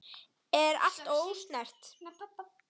Er allt ósnert?